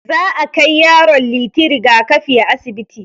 Za akai yaron Liti rigakafi a asibiti.